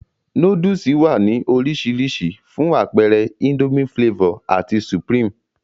Nóódùsì wá ní orisirisi, fún apeere Indomie Flavor ati supreme